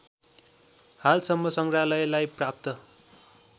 हालसम्म सङ्ग्रहालयलाई प्राप्त